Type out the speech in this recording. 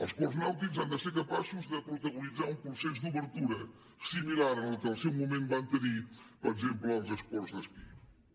els ports nàutics han de ser capaços de protagonitzar un procés d’obertura similar al que en el seu moment van tenir per exemple els esports d’esquí